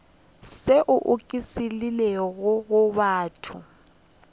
tšeo di oketšegilego go batho